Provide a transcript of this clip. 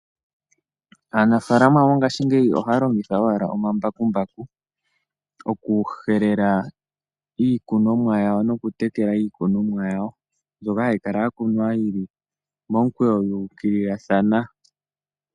Aanafaalama mongaashingeyi ohaya longitha owala omambakumbaku, oku helela iikunomwa yawo osho wo oku tekela iikunomwa yawo, mbyoka hayi kala ya kunwa yili momukweyo ya ukililathana.